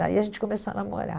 Daí a gente começou a namorar.